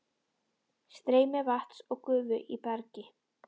Streymi vatns og gufu í bergi